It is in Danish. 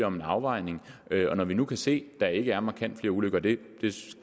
om en afvejning og når vi nu kan se at der ikke er markant flere ulykker det